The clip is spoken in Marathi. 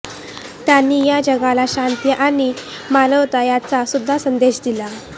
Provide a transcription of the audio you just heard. त्यांनी या जगाला शांती आणि आणि मानवता याचा सुद्धा संदेश दिला